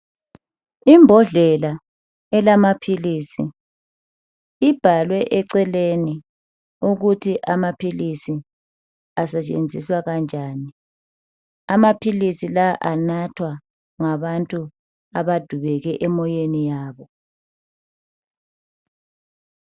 Imbodlela elamaphilisi ibhalwe eceleni ukuthi amaphilisi asetshenziswa kanjani. Amaphilisi lawa anathwa ngabantu abadubeke emoyeni yabo.